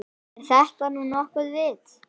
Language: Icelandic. Er þetta nú nokkurt vit.